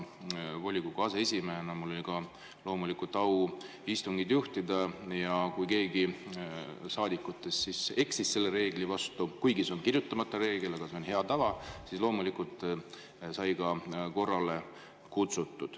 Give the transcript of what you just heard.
Volikogu aseesimehena oli mul au ka istungit juhtida ja kui keegi saadikutest eksis selle reegli vastu – kuigi see on kirjutamata reegel, aga see on hea tava –, siis loomulikult sai teda ka korrale kutsutud.